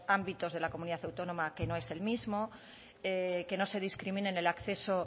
ámbitos de la comunidad autónoma que no es el mismo que no se discrimine en el acceso